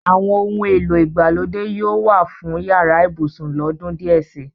Àwọn ohun èlò ìgbàlódé yóò wà fún yàrá ibùsùn lọ́dún díẹ̀ si.